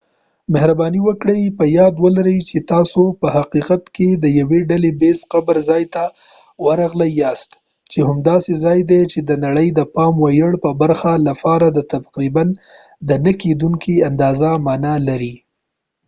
مهرباني وکړئ په یاد ولرئ چې تاسو په حقیقت کې د یو ډله ییز قبر ځای ته ورغلي یاست چې هم داسې ځای دی چې د نړۍ د پام وړ یوې برخه لپاره تقریبا د نه کېدونکې اندازې معنا لري